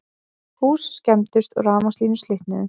Hús skemmdust og rafmagnslínur slitnuðu